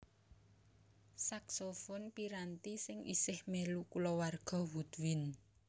Saksofon piranti sing isih mèlu kulawarga woodwind